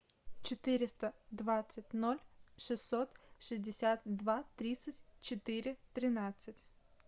четыреста двадцать ноль шестьсот шестьдесят два тридцать четыре тринадцать